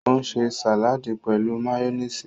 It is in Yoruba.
O ṣe sàládì pẹ̀lú máyónísì.